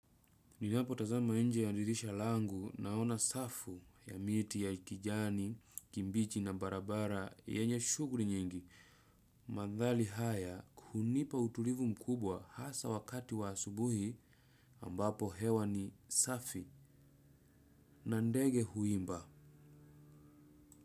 Ninapotazama nje ya dirisha langu naona safu ya miti ya kijani, kibichi na barabara, yenye shuguli nyingi. Mandhari haya kunipa utulivu mkubwa hasa wakati wa asubuhi ambapo hewa ni safi na ndege huimba.